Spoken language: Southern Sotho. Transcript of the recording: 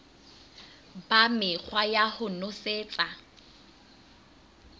ba mekgwa ya ho nosetsa